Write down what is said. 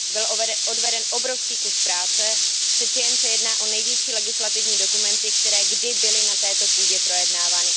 Byl odveden obrovský kus práce, přeci jen se jedná o největší legislativní dokumenty, které kdy byly na této půdě projednávány.